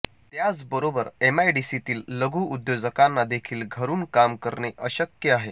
त्याचबरोबर एमआयडीसीतील लघुउद्योजकांना देखील घरुन काम करणे अशक्य आहे